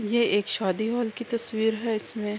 یہ ایک شادی ہال کی تشویر ہے اسمے--